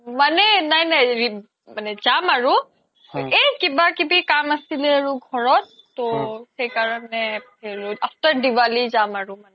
মানে নাই নাই জাম আৰু এই কিবা কিবি কাম আছিলে আৰু ঘৰত তো সেইকাৰনে after diwali যাম আৰু মানে